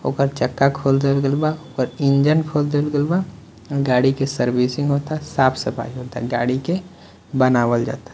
ओकर चक्का खोल देवल गइल बा ओकर इंजन खोल देवल गइल बा गाड़ी के सर्विसिंग होता साफ़-सफाई होता गाड़ी के बनावल जाता --